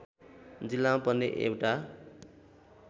जिल्लामा पर्ने एउटा